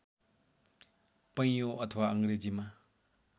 पैयुँ अथवा अङ्ग्रेजीमा